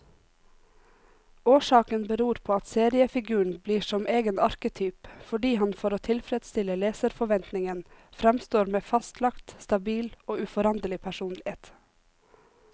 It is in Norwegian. Årsaken beror på at seriefiguren blir som egen arketyp, fordi han for å tilfredstille leserforventningen framstår med fastlagt, stabil og uforanderlig personlighet.